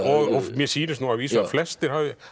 mér sýnist að vísu að flestir hafi